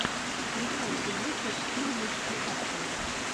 включай фильмуху в стиле мультипликация